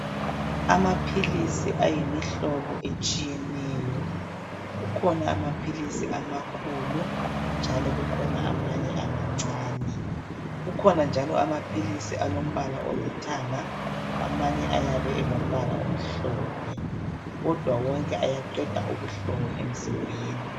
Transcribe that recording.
Amaphilisi ayimihlobo etshiyeneyo kukhona amaphilisi amakhulu njalo kukhona amanye amancane kukhona njalo amaphilisi alombala olithanga amanye ayabe elombala omhlophe kodwa wonke ayaqeda ubuhlungu emzimbeni.